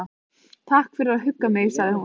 Takk fyrir að hugga mig- sagði hún.